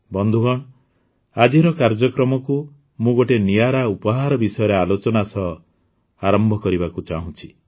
ବନ୍ଧୁଗଣ ଆଜିର କାର୍ଯ୍ୟକ୍ରମକୁ ମୁଁ ଗୋଟିଏ ନିଆରା ଉପହାର ବିଷୟରେ ଆଲୋଚନା ସହ ଆରମ୍ଭ କରିବାକୁ ଚାହୁଁଛି